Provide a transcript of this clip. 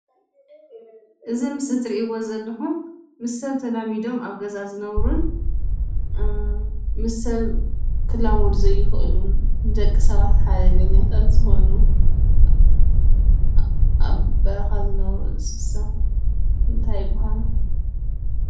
እዚ ኣብ ምስሊ እትርእዎ ዘለኹም ምስ ሰብ ተላሚዶን ኣብ ገዛ ዝንብሩን ምስ ሰብ ክላመዱ ዘይክእልንደቂ ሰባት ሓደገኛታት ዝኮኑ አብ በረካ ዝነብሩ እንስሳ እንታይ ይባሃሉ?